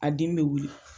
A dimi bɛ wuli